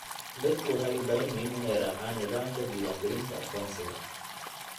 Dadku waxay u baahan yihiin inay raacaan nidaamka diiwaangelinta aqoonsiga.